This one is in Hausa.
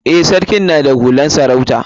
Eh, sarkin na da hular sarauta.